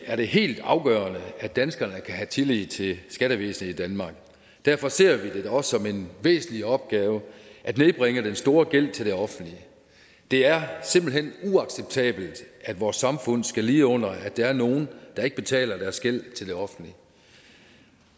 er det helt afgørende at danskerne kan have tillid til skattevæsenet i danmark derfor ser vi det da også som en væsentlig opgave at nedbringe den store gæld til det offentlige det er simpelt hen uacceptabelt at vores samfund skal lide under at der er nogle der ikke betaler deres gæld til det offentlige